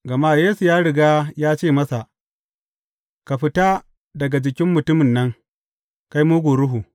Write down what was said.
Gama Yesu ya riga ya ce masa, Ka fita daga jikin mutumin nan, kai mugun ruhu!